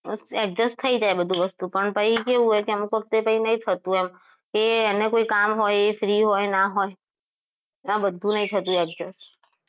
એક જ થઈ જાય બધી વસ્તુ તો પણ એવું કે બધી વખતે એવું નથી થતું કે એને કંઈ કામ હોય એ free હોય ના હોય આ બધું નહીં થતું adjust